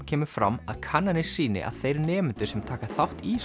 kemur fram að kannanir sýni að þeir nemendur sem taka þátt í